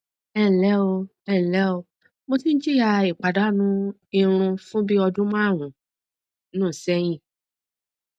ẹ ǹlẹ o ẹ ǹlẹ o mo tí ń jìyà ìpàdánù irun fún bí ọdún márùnún sẹyìn